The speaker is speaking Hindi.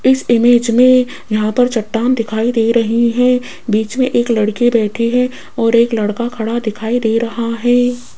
इस इमेज में यहां पर चट्टान दिखाई दे रही है बीच में एक लड़के बैठे हैं और एक लड़का खड़ा दिखाई दे रहा है।